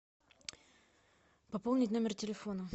пополнить номер телефона